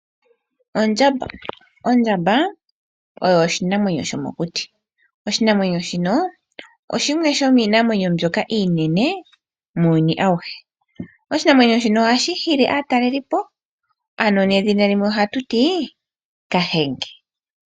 Ondjamba Ondjamba oyo oshinamwenyo shomokuti. Oshinamwenyo shino shimwe shomiinamwenyo mbyoka iinene muuyuni auhe. Oshinamwenyo shino ohashi hili aatalelipo. Edhina limwe ohatu ti Kahenge.